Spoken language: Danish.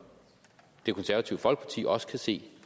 det konservative folkeparti også kan se